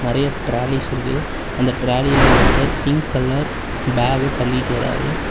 நெறைய டிராலிஸ் இருக்கு அந்த டிராலில ஒருத்தர் பிங்க் கலர் பேக்க தள்ளிட்டு வராறு.